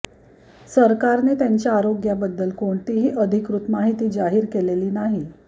सरकारने त्यांच्या आरोग्याबद्दल कोणतीही अधिकृत माहिती जाहीर केलेली नाही